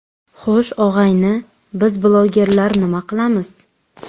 Xo‘sh, og‘ayni, biz blogerlar nima qilamiz?